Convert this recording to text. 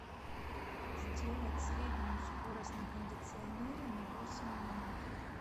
сделать среднюю скорость на кондиционере на восемь минут